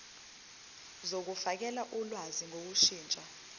zokufakela ulwazi ngokushintsha